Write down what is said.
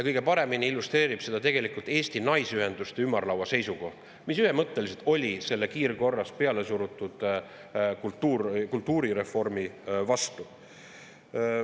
Kõige paremini illustreerib seda tegelikult Eesti Naisteühenduste Ümarlaua seisukoht, mis ühemõtteliselt oli selle kiirkorras pealesurutud kultuurireformi vastu.